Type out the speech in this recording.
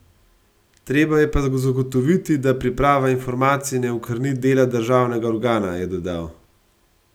Treba je pa zagotoviti, da priprava informacij ne okrni dela državnega organa, je dodal.